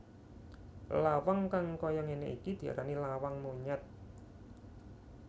Lawang kang kaya ngene iki diarani lawang monyet